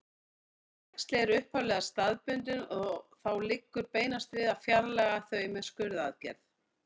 Þessi æxli eru upphaflega staðbundin og þá liggur beinast við að fjarlægja þau með skurðaðgerð.